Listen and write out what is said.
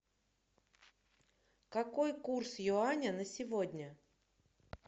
какой курс юаня на сегодня